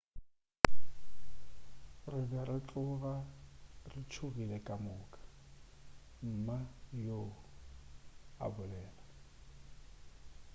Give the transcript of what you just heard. re be re tloga re tšhogile ka moka mma yoo a bolela